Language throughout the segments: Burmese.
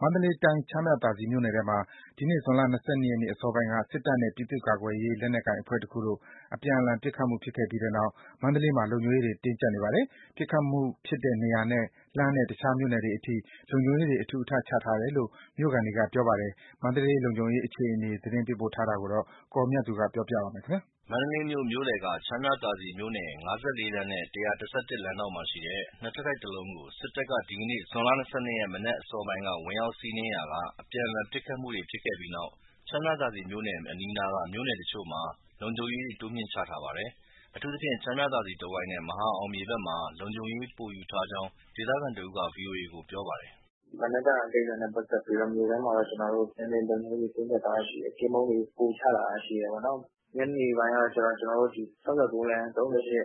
မန္တလေးတိုင်း ချမ်းမြသာစည်မြို့နယ်ထဲမှာ ဒီနေ့ ဇွန်လ ၂၂ ရက်အစောပိုင်းက စစ်တပ်နဲ့ ပြည်သူ့ကာကွယ်ရေး လက်နက်ကိုင်အဖွဲ့တခုတို့ အပြန်အလှန် ပစ်ခတ်မှု ဖြစ်ခဲ့ပြီးနောက် မန္တလေးမှာ လုံခြုံရေးတင်းကြပ်နေပါတယ်။ ပစ်ခတ်မှုဖြစ်တဲ့နေရာနဲ့ လှမ်းတဲ့တခြားမြို့နယ်တွေအထိ လုံခြုံရေးတွေ အထူအထပ်ချထားတယ်လို့ မြို့ခံတွေက ပြောပါတယ်။ မန္တလေးလုံခြုံရေးအခြေအနေကို သတင်းပေးပို့ထားတာကို ကိုအောင်မြတ်သူ ပြောပြပါမယ်။ မန္တလေးမြို့ မြို့လယ်က ချမ်းမြသာစည်မြို့နယ် ၅၄ လမ်းနဲ့ ၁၁၁ လမ်းဒေါင့်မှာရှိတဲ့ ၂ ထပ်တိုက်တလုံးကို စစ်တပ်က ဒီနေ့ ဇွန် ၂၂ ရက် မနက်အစောပိုင်းက ဝင်ရောက်စီးနင်းရာက အပြန်အလှန် ပစ်ခတ်မှုတွေ ဖြစ်ခဲ့ပြီးနောက်၊ ချမ်းမြသာစည်မြို့နယ်အပြင် အနီးအနားက မြို့နယ်တချို့မှာ လုံခြုံရေးတွေ တိုးမြှင့်ချထားပါတယ်။ အထူးသဖြင့် ချမ်းမြသာစည် တဝိုက်နဲ့ မဟာအောင်မြေဘက်မှာ လုံခြုံရေးပိုယူထားကြောင်း ဒေသခံတဦးက ဗွီအိုအေကို ပြောပါတယ်။ “မနက်က ကိစ္စနဲ့ပတ်သက်ပြီးတော့ မြို့ထဲမှာ နည်းနည်းလုံခြုံရေး တင်းကျပ်ထားတာရှိတယ်။ ကင်းပုန်းတွေ ပိုချထားတာရှိတယ်။ ညနေပိုင်းကျတော့ ကျနော်တို့ ၆၉ လမ်း၊ ၃၈ x ၃၉ အဲ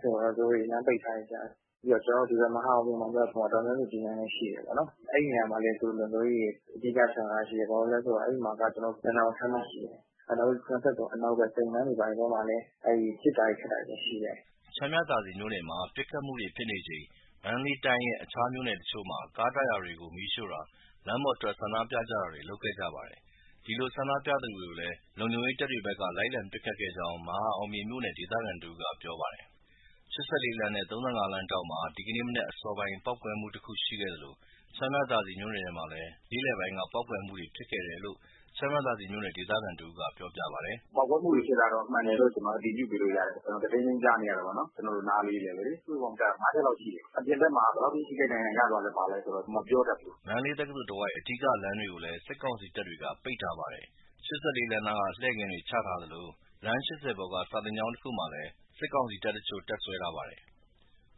ဒီမှာ သူတို့လမ်းပိတ်ထားတယ်။ ပြီးတော့ ကျနော်တို့ ဒီဘက် မဟာအောင်မြေဘက်မှာ ဒေါ်အောင်ဆန်းစုကြည်လမ်းလည်း ရှိတယ်၊ အဲဒီနေရာမှာလည်း သူတို့လုံခြုံရေးတွေ အဓိက ချထားတာရှိတယ် ဘာလို့ဆို အဲဒီမှာက ရတနာပုံခန်းမရှိတယ်။ နောက်ပြီး ၇၃ အနောက်ဘက်မှာ ပစ်တာခတ်တာတွေရှိတယ်။” ချမ်းမြသာစည်မြို့နယ်မှာ ပစ်ခတ်မှုတွေဖြစ်နေချိန် မန္တလေးတိုင်းရဲ့ တခြားမြို့နယ်တချို့မှာ ကားတာယာတွေကို မီးရှို့တာ၊ လမ်းပေါ်ထွက် ဆန္ဒပြကြတာတွေ လုပ်ခဲ့ကြပါတယ်။ ဒီလိုဆန္ဒပြသူတွေကိုလည်း လုံခြုံရေးတပ်တွေဖက်က လိုက်လံပစ်ခတ်ခဲ့ကြောင်း မဟာအောင်မြေမြို့နယ်က ဒေသခံတဦးက ပြောပါတယ်။ ၈၄ လမ်းနဲ့ ၃၅ လမ်းထောင့်မှာ ဒီနေ့ မနက်အစောပိုင်းက ပေါက်ကွဲမှုတခုရှိခဲ့သလို ချမ်းမြသာစည် မြို့နယ်ထဲမှာလည်း နေ့လည်ပိုင်းက ပေါက်ကွဲမှုတွေဖြစ်ခဲ့တယ်လို့ ချမ်းမြသာစည်မြို့နယ် ဒေသခံတဦးက ပြောပြပါတယ်။ “ ပေါက်ကွဲမှုတွေဖြစ်တာကတော့ မှန်တယ်လို့ ကျနော်အတည်ပြုပေးလို့ရတယ် ကျနော် တဒိန်းဒိန်း ကြားနေရတာပေါ့နော် ကျနော်တို့နားလေးဘဲ။ စုစုပေါင်းကြားတာ ငါးချက်လောက်ရှိတယ်။ အပြင်ဘက်မှာ ဘယ်လောက်အထိ ထိခိုက်ဒဏ်ရာ ရသွားလဲဆိုတာ မပြောတတ်ဘူး။” မန္တလေးတက္ကသိုလ်တဝိုက် အဓိကလမ်းတွေကိုလည်း စစ်ကောင်စီတပ်တွေက ပိတ်ထားပါတယ်။ ၈၄ လမ်းနားမှာ လှည့်ကင်းတွေ ချထားသလို လမ်း ၈၀ ပေါ်က စာသင်ကျောင်းတခုမှာလည်း စစ်ကောင်စီတပ်တချို့ တပ်စွဲထားပါတယ်။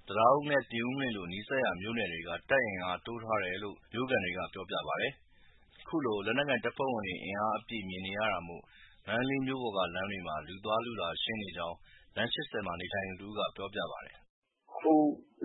တံတားဦးနဲ့ ပြင်ဦးလွင်လို နီးစပ်ရာမြို့နယ်တွေက တပ်အင်အား တိုးထားတယ်လို့ မြို့ခံတွေက ပြောပြပါတယ်။ ခုလို လက်နက်ကိုင်တပ်ဖွဲ့ဝင်တွေ အင်အားအပြည့် မြင်နေရတာမို့ မန္တလေးမြို့ပေါ်က လမ်းတွေမှာ လူသွားလူလာ ရှင်းလင်းနေကြောင်း လမ်း ၈၀ မှာနေထိုင်သူတဦးက ပြောပါတယ်။ “ အခု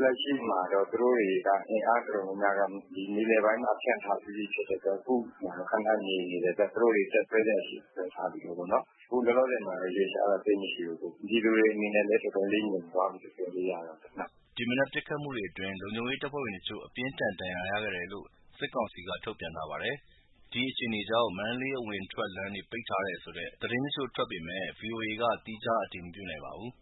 လက်ရှိမှာတော့ သူတို့တွေက အင်အားတော်တော်များများက မြေပြင်ပိုင်းမှာ ဖြန့်ထားပြီးပြီ ဖြစ်တဲ့အတွက် အခုမှာတော့ ခဏငြိမ်နေတယ်။ သူတို့တွေ တပ်စွဲစရာရှိတာ စွဲထားပြီးပြီပေါ့။ အခုလောလောဆယ်မှာတော့ ရွေ့လျားတာ သိပ်မရှိဘူး။ ပြည်သူတွေ အနေနဲ့လည်း တော်တော်လေး ငြိမ်သွားပြီလို့ ပြေကာလို့ရတာပေါ့။” ဒီမနက်ပစ်ခတ်မှုတွေအတွင်း လုံခြုံရေးတပ်ဖွဲ့ဝင်တချို့ အပြင်းအထန်ဒဏ်ရာရခဲ့တယ်လို့ စစ်ကောင်စီက ထုတ်ပြန်ထားပါတယ်။ ဒီအခြေအနေကြောင့် မန္တလေးအဝင်အထွက် လမ်းတွေ ပိတ်ထားတယ်ဆိုတဲ့ သတင်းတချို့ထွက်ပေမဲ့ ဗီအိုအေက သီးခြားအတည်မပြုနိုင်ပါဘူး။